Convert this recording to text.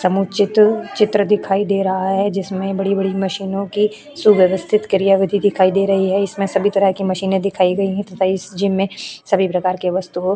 समुच्य चित्र दिखाई दे रहा है जिसमें बड़ी-बड़ी मशीनो की सुववस्थित क्रियाविधि दिखाई दे रही है इसमें सभी तरह के मशीने दिखाई गई तथा इस जिम में सभी प्रकार के वस्तुओ --